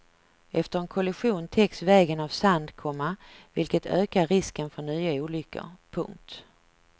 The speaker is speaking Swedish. Efter en kollision täcks vägen av sand, komma vilket ökar risken för nya olyckor. punkt